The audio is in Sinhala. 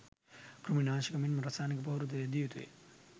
කෘමි නාශක මෙන්ම රසායනික පොහොර ද යෙදිය යුතුය.